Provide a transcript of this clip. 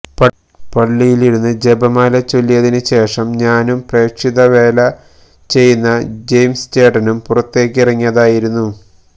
പള്ളിയിലിരുന്ന് ജപമാല ചൊല്ലിയതിനു ശേഷം ഞാനും പ്രേക്ഷിത വേല ചെയ്യുന്ന ജയിംസ് ചേട്ടനും പുറത്തേക്കിറങ്ങിതായിരുന്നു